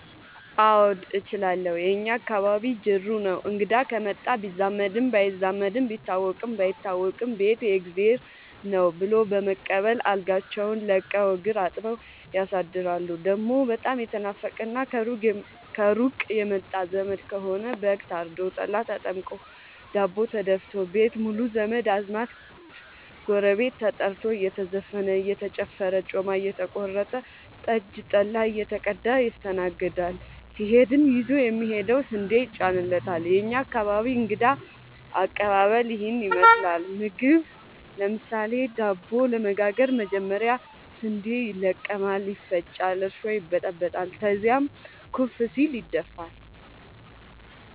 አዎድ እችላለሁ የእኛ አካባቢ ጅሩ ነው። እንግዳ ከመጣ ቢዛመድም ባይዛመድም ቢታወቅም ባይታወቅም ቤት የእግዜር ነው። ብሎ በመቀበል አልጋቸውን ለቀው እግር አጥበው ያሳድራሉ። ደሞ በጣም የተናፈቀና ከሩቅ የመጣ ዘመድ ከሆነ በግ ታርዶ፤ ጠላ ተጠምቆ፤ ዳቦ ተደፋቶ፤ ቤት ሙሉ ዘመድ አዝማድ ጎረቤት ተጠርቶ እየተዘፈነ እየተጨፈረ ጮማ እየተቆረጠ ጠጅ ጠላ እየተቀዳ ይስተናገዳል። ሲሄድም ይዞ የሚሄደው ስንዴ ይጫንለታል። የእኛ አካባቢ እንግዳ ከቀባበል ይህን ይመስላል። ምግብ ለምሳሌ:- ዳቦ ለመጋገር መጀመሪያ ስንዴ ይለቀማል ይፈጫል እርሾ ይበጠበጣል ከዚያም ኩፍ ሲል ይደፋል።